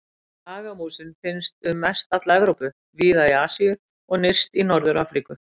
Hagamúsin finnst um mest alla Evrópu, víða í Asíu og nyrst í Norður-Afríku.